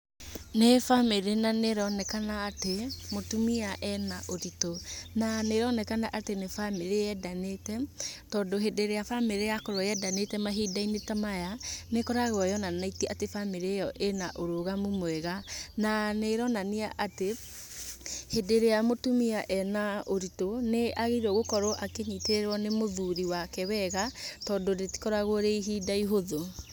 Nĩ bamĩrĩ na nĩronekana atĩ mũtumia arĩ na ũritũ, na nĩ ĩronekana atĩ nĩ bamĩrĩ yendanĩte, tondũ hĩndĩ ĩrĩa bamĩrĩ yakorwo yendanĩte mahinda-inĩ ta maya nĩkoragwo yonanĩtie atĩ bamĩrĩ ĩyo ĩna ũrũgamu mwega na nĩ ĩronania atĩ, hĩndĩ ĩrĩa mũtumia ena ũritũ nĩ agĩrĩirwo gũkũrwo akĩnyitĩrĩrwo nĩ mũthuri wake wega tondũ rĩtikoragwo rĩ ihinda ihũthũ.